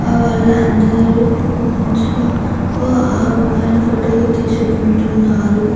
ఆ వాళ్లందరూ ఫోన్స్ లో అభిమాని ఫోటో లు తీసుకుంటున్నారు.